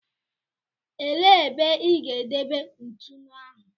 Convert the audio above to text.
Elee ebe ị ga-edebe ntụnụ ahụ?